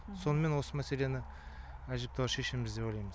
сонымен осы мәселені әжептәуір шешеміз деп ойлайм